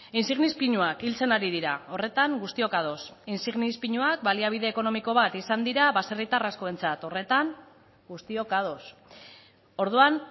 insignis pinuak hiltzen ari dira horretan guztiok ados insignis pinuak baliabide ekonomiko bat izan dira baserritar askoentzat horretan guztiok ados orduan